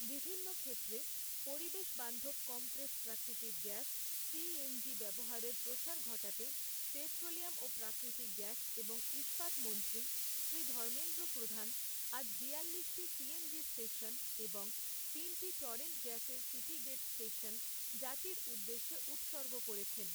বিভিন্ন ক্ষেত্রে, পরিবেশ বান্ধব কম্প্রেস প্রাকৃতিক গ্যাস, সিএনজি ব্যবহারের প্রসার ঘটাতে, পেট্রোলিয়াম ও প্রাকৃতিক গ্যাস এবং ইস্পাত মন্ত্রী শ্রী ধর্মেন্দ্র প্রধান আজ বিয়াল্লিশটি সিএনজি স্টেশন, এবং তিনটি টরেন্ট গ্যাসের সিটি গেট স্টেশন, জাতির উদ্দেশ্যে উৎসর্গ করেছেন।